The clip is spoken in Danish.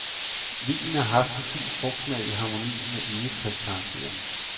Vinen har en fin frugtsmag i harmoni med egetræskarakteren.